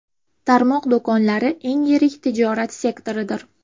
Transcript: Tarmoq do‘konlari eng yirik tijorat sektoridir.